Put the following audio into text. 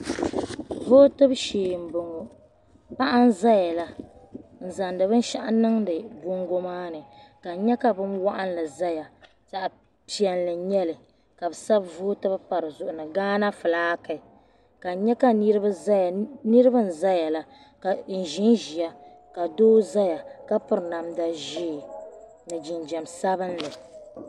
Votɛbu shee m bɔŋɔ paɣa n zaya la n zaŋdi binshɛɣu niŋdi bɔngɔ maa ni ka n nyɛ ka bin waɣinli zaya zaɣi piɛlli n nyɛli ka bɛ sabi vootɛbu pa di zuɣu ni Ghana flaake ka n nyɛ ka niriba zaya niriba n zaya la ka n ʒen ʒeya ka doo zaya ka piri namda ʒee ni jinjɛm sabinli.